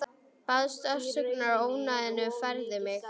Baðst afsökunar á ónæðinu og færði mig.